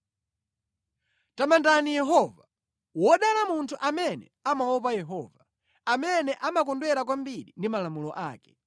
Tamandani Yehova. Wodala munthu amene amaopa Yehova, amene amakondwera kwambiri ndi malamulo ake.